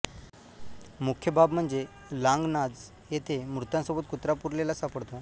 मुख्य बाब म्हणजे लांघणाज येथे मृतांसोबत कुत्रा पुरलेला सापडतो